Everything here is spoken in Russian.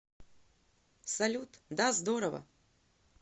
салют да здорово